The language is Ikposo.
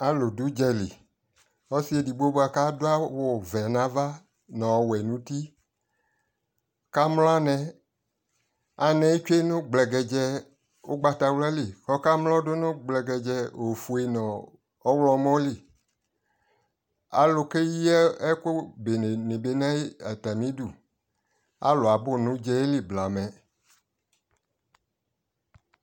alʋ dʋ ʋgya li, ɔsii ɛdigbɔ di kʋ adʋ awʋ vɛ nʋ aɣa nʋ ɔwɛ nʋ ʋti ɔka mlɔ anɛ, anɛ twɛ nʋ gblɛgɛdzɛɛ ɔgbatawla li kʋ akɔ mlɔ dʋnʋ gblɛgɛdzɛɛ ɔfʋɛ nʋ ɔwlɔmʋ li, alʋ kɛyi ɛkʋ bɛnɛ dibi nʋ ayidʋ, alʋ abʋ nʋ ɔdzali blamɛ